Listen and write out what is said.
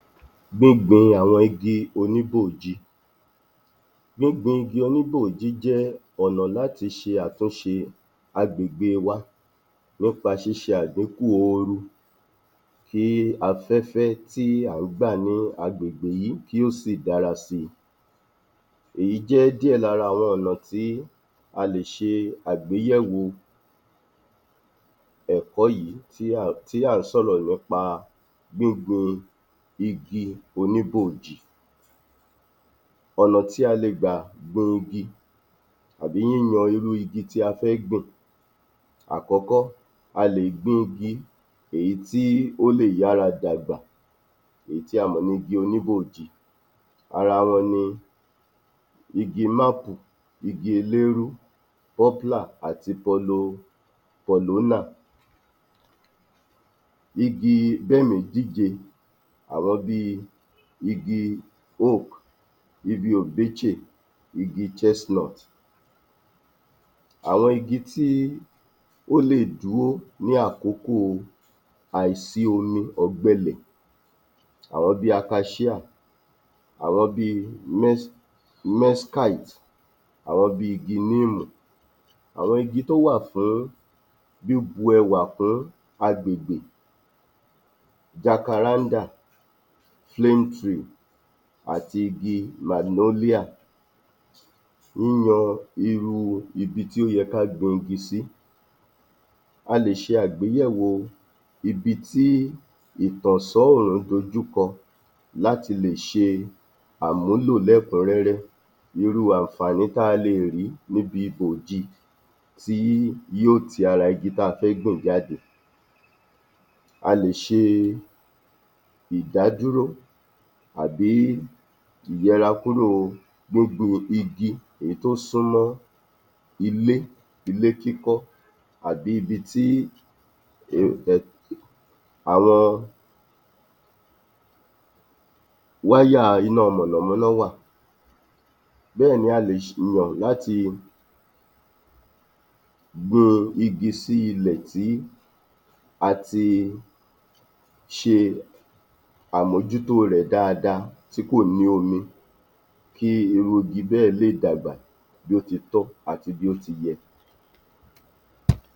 27. Gbígbin àwọn igi oníbòòji Gbígbin igi oníbòòji jẹ́ ọ̀nà láti ṣe àtúnṣe àgbègbèe wa nípa ṣíṣe àdíkù ooru kí afẹ́fẹ́ tí à ń gbà ní agbègbè yìí kí ó sì dára síi. Èyí jẹ́ díẹ̀ lára àwọn ọ̀nà tí a lè ṣe agbéyẹ̀wò ẹ̀kọ́ yìí [umum] tí à ń sọ̀rọ̀ nípa gbígbin igi oníbòòji. Ọ̀nà tí a lè gbà gbin igi àbí yíyan irú igi tí a fẹ́ gbìn, àkọ́kọ́, a lè gbin igi èyí tí ó lè yára dàgbà, èyí tí a mọ̀ ní igi oníbòòji, ara wọn ni igi mákù, igi eléérú, poplar àti porlopolona, igi bẹ́mìíjíje: àwọn bíi igi owk, igi obeche, igi chestnut. Àwọn igi tí ó lè dúó ní àkókòo àìsí omi ọ̀gbẹlẹ̀, àwọn bíi apá ṣíà, àwọn bíi um nescait, àwọn bíi igi níìmù. Àwọn igi tó wà fún bíbu ẹwà fún àgbègbè: jacaranda, flame tree àti igi malionia. Yíyan irú ibi tí ó yẹ ká gbin igi sí A lè ṣe àgbéléwò ibi tí ìtànṣán òòrùn dojúkọ láti lè ṣe àmúlò lẹ́kùn-ún-rẹ́rẹ́. Irú àǹfààní tá a leè rí níbi bòòji tí yó ti ara igi tá a fẹ́ gbìn jáde, a lè ṣe ìdádúró àbí ìyẹrakúròo gbogbo igi èyí tó sunmọ́ ilé ilé kíkọ́ àbí ibi tí [umum] àwọn wáyàa iná mọ̀nàmọ́ná wà. Bẹ́ẹ̀ni a lè sìyàn láti gbin igi sí ilẹ̀ tí àti ṣe àmójútó rẹ̀ dáadáa tí kò ní omi kí irú igi bẹ́ẹ̀ lè dàgbà bí ó ti tọ́ àti bí ó ti yẹ.